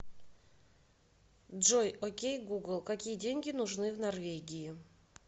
джой окей гугл какие деньги нужны в норвегии